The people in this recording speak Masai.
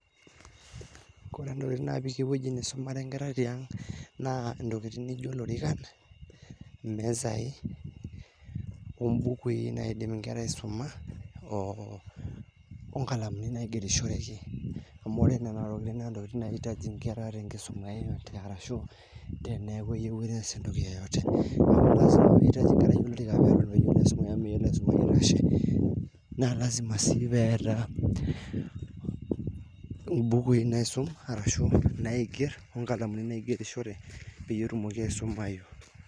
ore ntokiting napiki ewueji naisumare nkera tiang' naa ntokiting' naijio lorikan ,misai ,ombukui naidim inkera aisuma onkalamuni naigerishoreki amu nena tokiting naa ntokiitng naitaji nkera enye arashu teneyieu neas entoki yeyote na lasima sii peta imbukui naisum ashu naigerr onkalamuni naigerishore petumoki aisumayu